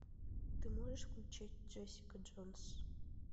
ты можешь включить джессика джонс